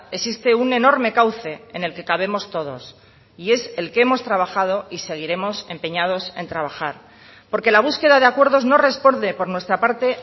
existe un enorme cauce en el que cabemos todos y es el que hemos trabajado y seguiremos empeñados en trabajar porque la búsqueda de acuerdos no responde por nuestra parte